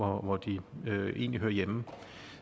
hvor de egentlig hører hjemme